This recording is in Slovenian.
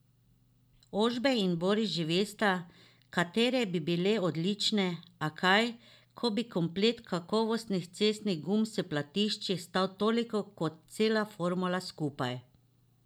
Ožbej in Boris že vesta, katere bi bile odlične, a kaj, ko bi komplet kakovostnih cestnih gum s platišči stal toliko kot cela formula skupaj.